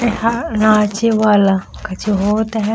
यहाँ नाचे वाला कछु होत है।